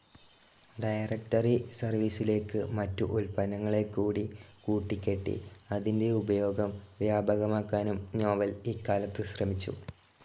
Directory സെർവീസിലേക്ക് മറ്റു ഉൽപ്പന്നങ്ങളെക്കൂടി കൂട്ടിക്കെട്ടി അതിന്റെ ഉപയോഗം വ്യാപകമാക്കാനും നോവെൽ ഇക്കാലത്ത് ശ്രമിച്ചു.